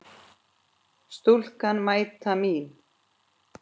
Stúlkan mæta mín.